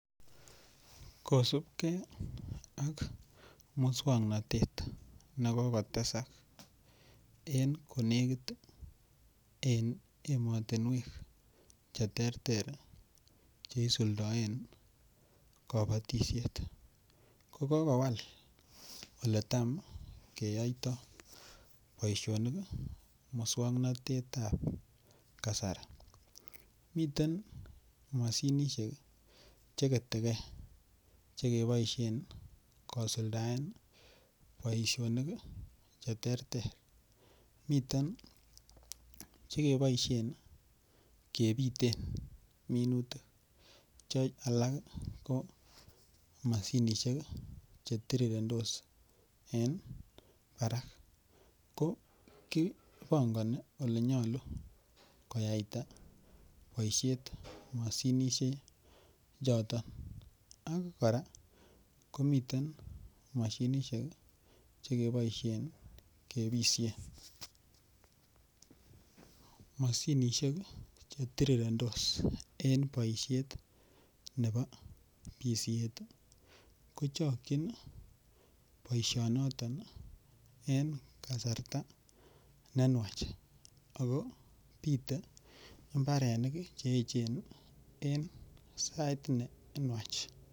Kosipkee ak muswoknotet nekokotesak en konekit en emotinuek cheterter cheisuldoen konotishet kokokowal oletam keyoito boisionik muswoknotetab kasari, miten moshinishek cheketekee chekeboisien kosuldaen boisionik cheterter miten chekeboisien kebiten minutik che alak ko moshinishek chetirirentos en barak ko kipongoni olenyolu koyaita boishet moshinishechoto ak koraa komiten moshinishek chekeboisien kebishen, moshinishek chetirirentos en boishet nebo bishet ii kochokchin boishonoton en kasarta nenywach akobite imbarenik cheechen en sait nenywach.